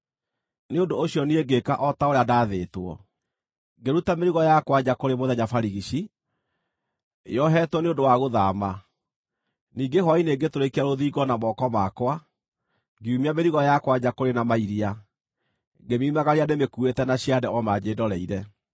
Nĩ ũndũ ũcio niĩ ngĩĩka o ta ũrĩa ndaathĩtwo. Ngĩruta mĩrigo yakwa nja kũrĩ mũthenya barigici, yoheetwo nĩ ũndũ wa gũthaama. Ningĩ hwaĩ-inĩ ngĩtũrĩkia rũthingo na moko makwa. Ngiumia mĩrigo yakwa nja kũrĩ na mairia, ngĩmiumagaria ndĩmĩkuuĩte na ciande o manjĩndoreire.